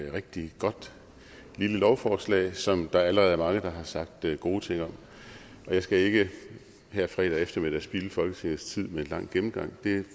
et rigtig godt lille lovforslag som der allerede er mange der har sagt gode ting om jeg skal ikke her fredag eftermiddag spilde folketingets tid med en lang gennemgang det er